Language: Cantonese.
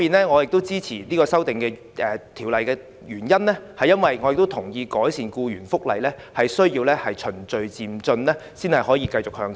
我支持政府修正案的原因，是我同意改善僱員福利需要循序漸進才能繼續向前走。